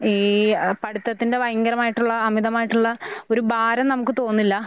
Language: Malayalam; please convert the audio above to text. ഈഹ് അ പഠിത്തത്തിന്റെ പയഞ്ഞ പയങ്കരമായിട്ടുള്ള അമിതമായിട്ടുള്ള ഒരു ഭാരം നമുക്ക് തോന്നില്ലാഹ്.